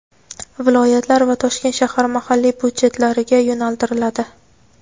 viloyatlar va Toshkent shahar mahalliy byudjetlariga yo‘naltiriladi.